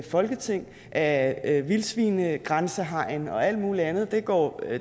folketing af vildsvinegrænsehegn og alt muligt andet det går